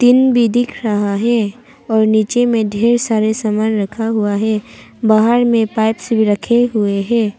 भी दिख रहा है और नीचे में ढेर सारे सामान रखा हुआ है बाहर में पाइप्स भी रखे हुए है।